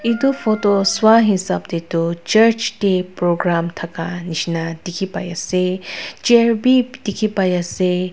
edu photo sai hisap tae toh church tae program thakashina dikhipai ase chair bi dikhipaiase.